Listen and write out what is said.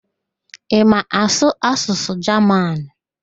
Ị ma asụ asụsụ Jaman?